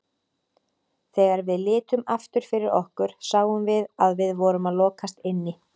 Þegar við litum aftur fyrir okkur sáum við að við vorum að lokast inni.